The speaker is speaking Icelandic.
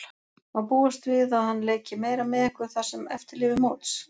Má búast við að hann leiki meira með ykkur það sem eftir lifir móts?